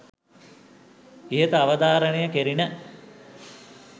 ඉහත අවධාරණය කෙරිණ.